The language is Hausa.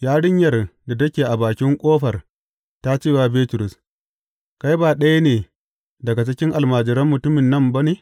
Yarinyar da take bakin ƙofar ta ce wa Bitrus, Kai ba ɗaya ne daga cikin almajiran mutumin nan ba ne?